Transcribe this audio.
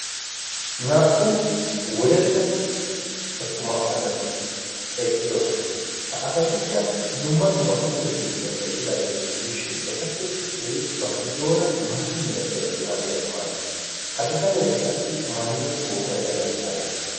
naa77u wodalla attuma asati eqqidosona. ha asatikka dumma dumma puutetu giddon eqqidaageeta gidiishin etappe issoyi ba giddoora maata milatiya shuraabiyaa maayiis. ha bitaneekka qassi maaido kootiya merai aibe?